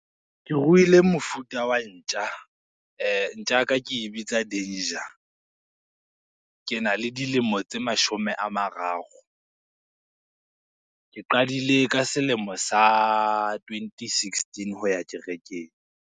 Ke ruile mofuta wa ntja, ntja ka ke e bitsa Danger. Ke na le dilemo tse mashome a mararo. Ke qadile ka selemo sa twenty sixteen ho ya kerekeng.